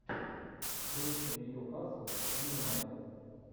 встреча ньюкасл и юнайтед